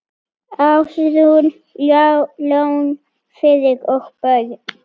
Ásrún, Jón Friðrik og börn.